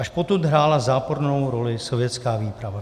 Až potud hrála zápornou roli sovětská výprava.